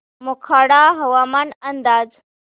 मोखाडा हवामान अंदाज